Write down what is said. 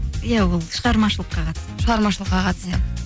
иә ол шығармашылыққа қатысты шығармашылыққа қатысты